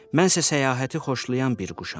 Mənsə səyahəti xoşlayan bir quşam.